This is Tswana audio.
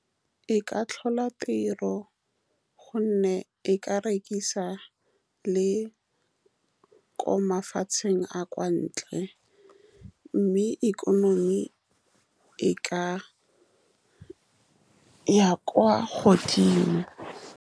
E ka tlhola tiro, ka gonne e ka rekisa le ko mafatsheng a a kwa ntle, mme ikonomi e ka ya kwa godimo.